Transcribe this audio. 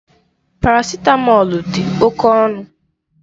Parasitamọlu dị oké ọnụ.